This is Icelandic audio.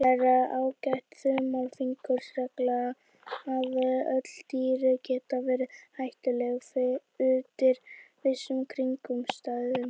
Það er ágæt þumalfingursregla að öll dýr geta verið hættuleg undir vissum kringumstæðum.